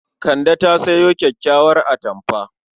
Kande ta sayo kyakkyawar atamfa.